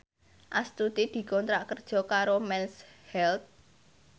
Astuti dikontrak kerja karo Mens Health